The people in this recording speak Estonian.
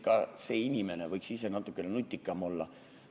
Ka see inimene võiks ise natukene nutikam olla.